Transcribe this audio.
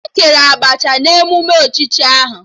E kere Abacha na emume echichi ahụ